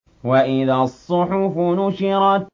وَإِذَا الصُّحُفُ نُشِرَتْ